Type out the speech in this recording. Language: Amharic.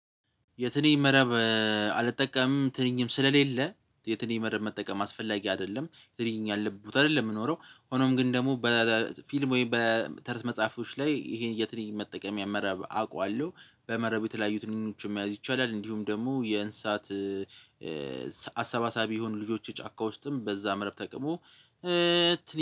የትንኝ መረብ አልጠቀምም። ትንኝም ስለሌለ የትንኝ መረብ መጠቀም አስፈላጊ አይደለም የትንኝ ያለበት አይደለም። የምኖረው ሆኖም ግን ደግሞ በፊልም ወይም በተረት መጽሐፎች ላይ ይሄን የትልቅ መጠቀም መርብ አውቃለሁ በመረብ የተለያዩ ትንንሾችም ያዝ ይቻላል። እንዲሁም ደግሞ የእንሳት አሰባሳቢ የሆኑ ልጆች ጫካ ውስጥም በዛ መርብ ተቅሞ።